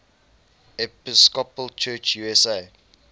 episcopal church usa